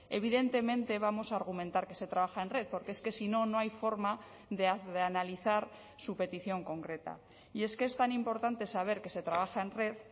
evidentemente vamos a argumentar que se trabaja en red porque es que si no no hay forma de analizar su petición concreta y es que es tan importante saber que se trabaja en red